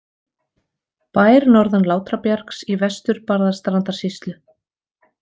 Bær norðan Látrabjargs í V-Barðastrandarsýslu.